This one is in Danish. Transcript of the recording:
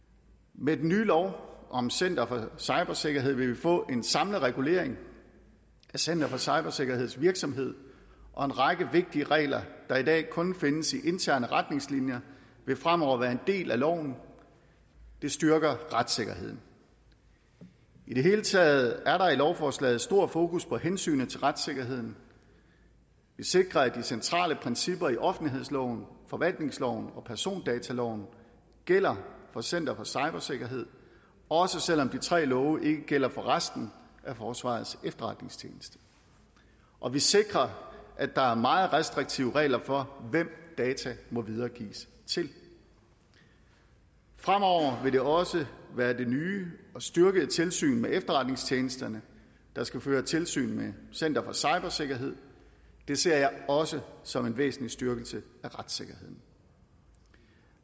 med den nye lov om center for cybersikkerhed vil vi få en samlet regulering af center for cybersikkerheds virksomhed og en række vigtige regler der i dag kun findes i interne retningslinjer vil fremover være en del af loven det styrker retssikkerheden i det hele taget er der i lovforslaget stor fokus på hensynet til retssikkerheden vi sikrer at de centrale principper i offentlighedsloven forvaltningsloven og persondataloven gælder for center for cybersikkerhed også selv om de tre love ikke gælder for resten af forsvarets efterretningstjeneste og vi sikrer at der er meget restriktive regler for hvem data må videregives til fremover vil det også være det nye og styrkede tilsyn med efterretningstjenesterne der skal føre tilsyn med center for cybersikkerhed det ser jeg også som en væsentlig styrkelse af retssikkerheden